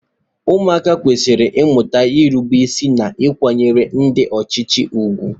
Ụmụaka kwesịrị ịmụta nrubeisi na ịkwanyere ndị ọchịchị ùgwù.